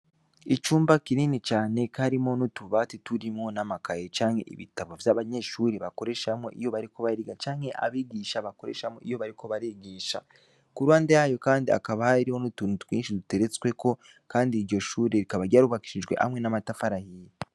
Icumba kinini cane karimo nutubati turimwo n'amakaye canke ibitabo vy'abanyeshuri bakoreshamwo iyo bariko bariga canke abigisha bakoreshamwo iyo bariko barigisha, kurande yayo kandi akabaha iriho nutunu twinshi duteretsweko, kandi iryo shuri rikabaryarubakishijwe hamwe n'amatafarahiye.